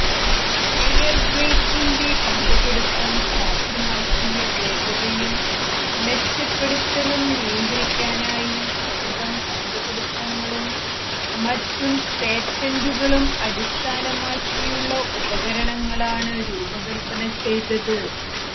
air ബ്രേക്കിൻറെ കണ്ടുപിടിത്തം സാധ്യമാക്കിയ വേഗതയും മെച്ചപ്പെടുത്തലും നിയന്ത്രിക്കാനായി സ്വന്തം കണ്ടുപിടുത്തങ്ങളും മറ്റു പേറ്റന്റുകളും അടിസ്ഥാനമാക്കിയുള്ള ഉപകരണങ്ങളാണ് രൂപകൽപ്പന ചെയ്തത്